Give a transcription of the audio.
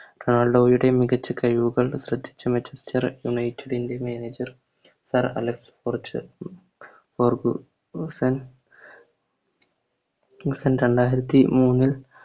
റൊണാൾഡോയുടെ മികച്ച കയിവുകൾ ശ്രദ്ധിച്ച Manchester united ൻറെ manager സർ അലക്സ് ഫോർച്ചു ഫെർഗുസൺ രണ്ടായിരത്തി മൂന്ന്